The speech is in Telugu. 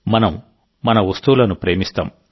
మనం మన వస్తువులను ప్రేమిస్తాం